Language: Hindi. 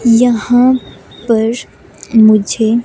यहाँ पर मुझे--